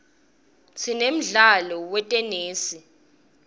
sinemdlalo wetenesi